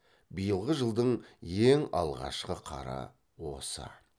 биылғы жылдың ең алғашқы қары осы